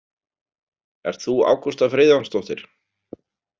Ert þú Ágústa Friðjónsdóttir?